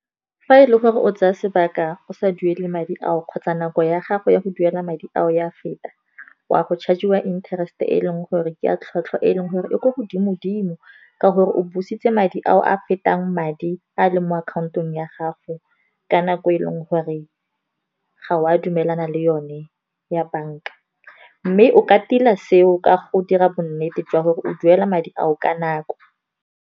Fa e le gore o tsaya sebaka go sa duele madi ao, kgotsa nako ya gago ya go duela madi ao ya feta, o a go charge-iwa interest e leng gore ke a tlhotlhwa e leng gore e ko godimo dimo. Ka gore o busitse madi ao a fetang madi a leng mo akhaontong ya gago, ka nako e leng gore ga o a dumelana le yone ya bank-a. Mme o ka tila seo ka go dira bonnete jwa gore o duela madi ao ka nako.